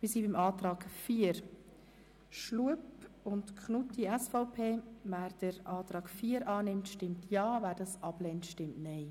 Wer den Antrag 4 Schlup/Knutti annimmt, stimmt Ja, wer ihn ablehnt, stimmt Nein.